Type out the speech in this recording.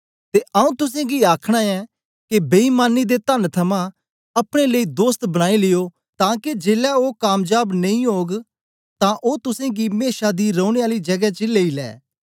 ते आऊँ तुसेंगी आखना ऐं के बेईमानी दे तन थमां अपने लेई दोस्त बनाई लियो तां के जेलै ओ कामजाब नेई ओग तां ओ तुसेंगी मेशा दी रौने आली जगें च लेई ले